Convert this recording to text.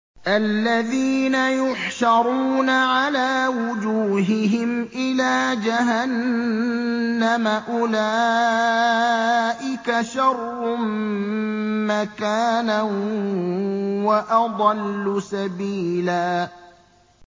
الَّذِينَ يُحْشَرُونَ عَلَىٰ وُجُوهِهِمْ إِلَىٰ جَهَنَّمَ أُولَٰئِكَ شَرٌّ مَّكَانًا وَأَضَلُّ سَبِيلًا